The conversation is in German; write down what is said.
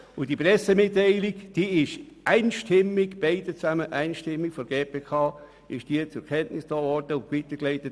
Die beiden Pressemitteilungen wurden einstimmig von der GPK zur Kenntnis genommen und weitergeleitet.